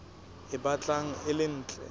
e batlang e le ntle